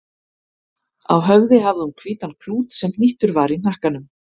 Á höfði hafði hún hvítan klút sem hnýttur var í hnakkanum.